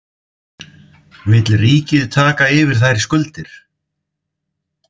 Vill ríkið taka yfir þær skuldir?